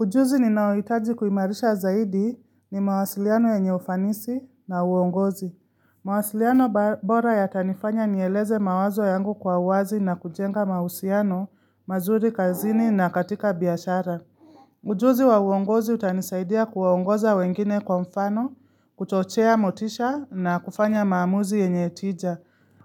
Ujuzi ninaohitaji kuimarisha zaidi ni mawasiliano yenye ufanisi na uongozi. Mawasiliano bora yatanifanya nieleze mawazo yangu kwa uwazi na kujenga mahusiano, mazuri kazini na katika biashara. Ujuzi wa uongozi utanisaidia kuwaongoza wengine kwa mfano, kuchochea motisha na kufanya maamuzi yenye tija.